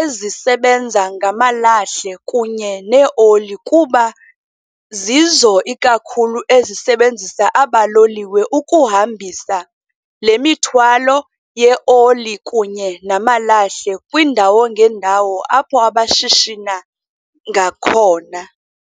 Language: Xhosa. ezisebenza ngamalahle kunye neeoli kuba zizo ikakhulu ezisebenzisa aba loliwe ukuhambisa lemithwalo yeoli kunye namalahle kwiindawo ngeendawo apho abashishina ngakhona.